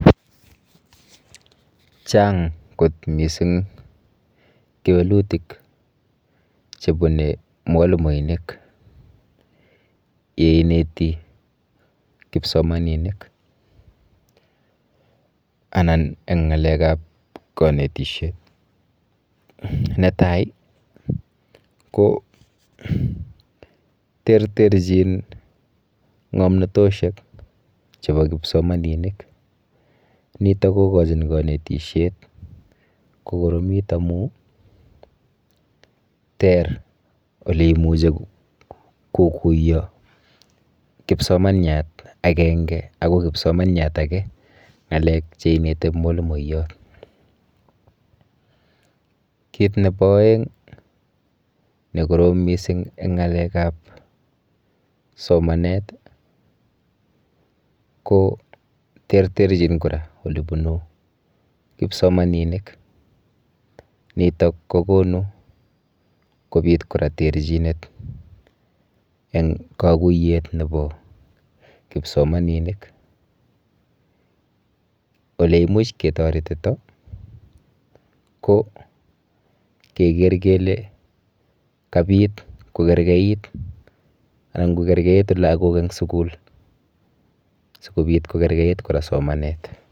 Chang kot mising kewelutik chebune mwalimoinik yeineti kipsomaninik anan eng ng'alekap kanetishet. Netai ko terterchin ng'omnatoshek chepo kipsomaninik, nitok kokochin kanetishet kokoromit amu ter olemuchi kokuyo kipsomaniat akenge ako kipsomaniat ake ng'alek cheineti mwalimoyot. Kit nepo oeng nekorom mising eng ng'alekap somanet ko terterchin kora olebunu kipsomaninik. Nitok kokonu kopit kora terchinet eng kaguiyet kora nepo kipsomaninik. Oleimuch ketoretito ko keker kele kapit kokerkeit anan kokerkeitu lagok eng sukul sikobit kokergeit kora somanet.